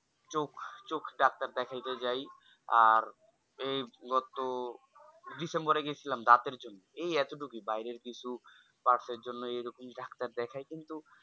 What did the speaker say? চোখ চোখ Doctor দেখাতেই যাই আর এই গত December এ গেছিলাম দাঁতের জন্য এই এতটুকুই বাইরের কিছু parts এর জন্যই এরকম Doctor দেখায় কিন্তু